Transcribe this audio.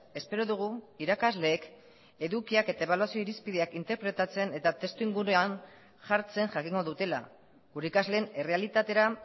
espero dugu irakasleek edukiak eta ebaluazio irizpideak interpretatzen eta testuinguruan jartzen jakingo dutela gure ikasleen errealitatera